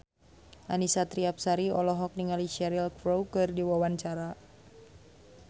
Annisa Trihapsari olohok ningali Cheryl Crow keur diwawancara